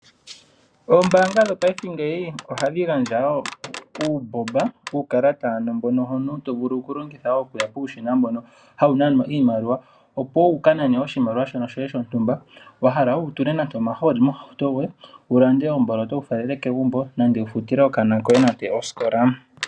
Ombaanga dhopaifeohadhi gandja wo uukalata mbono omuntu to vulu okulongitha okuya puushina mbono hawu nanwa iimaliwa, opo wu ka nane oshimaliwa shoye shono shontumba wa hala, opo wu tule nande omahooli mohauto yoye, wu lande omboloto wu falele kegumbo nenge wu futile okanona koye osikola.